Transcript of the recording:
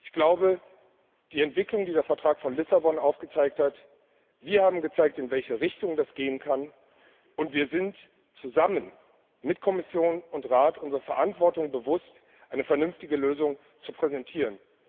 Ich glaube, dass wir in Bezug auf die Entwicklung, die der Vertrag von Lissabon aufgezeigt hat, gezeigt haben, in welche Richtung das gehen kann, und wir sind uns zusammen mit Kommission und Rat unserer Verantwortung bewusst, eine vernünftige Lösung zu präsentieren.